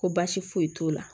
Ko baasi foyi t'o la